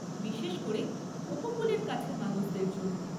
বিশেষ করে উপকূলের কাছের মানুষদের জন্য।